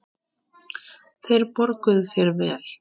Þeir borguðu þér vel.